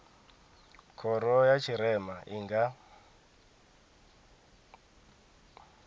khoro ya tshirema i nga